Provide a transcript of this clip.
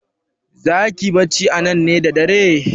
Zaki yi bacci anan ne da dare?